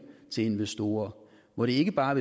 til investorer hvor det ikke bare